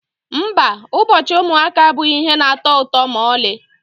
Mba, ụbọchị ụmụaka abụghị ihe na-atọ ụtọ ma ọlị.